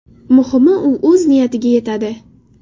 Muhimi, u o‘z niyatiga yetadi.